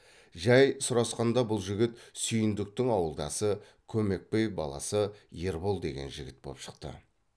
жай сұрасқанда бұл жігіт сүйіндіктің ауылдасы көмекбай баласы ербол деген жігіт боп шықты